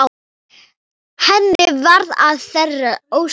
Henni varð að þeirri ósk.